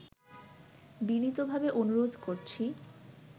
বিনীতভাবে অনুরোধ করছি